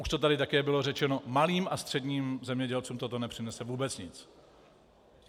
Už to tady také bylo řečeno, malým a středním zemědělcům toto nepřinese vůbec nic.